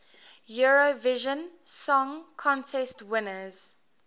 eurovision song contest winners